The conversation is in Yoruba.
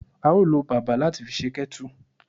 A o lo bàbà lati fi se kettle